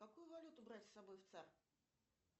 какую валюту брать с собой в цар